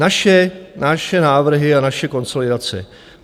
Naše návrhy a naše konsolidace.